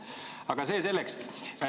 Aga see selleks.